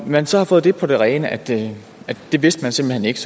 man så har fået det på det rene altså at det vidste man simpelt hen ikke